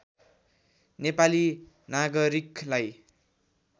नेपाली नागरिकलाई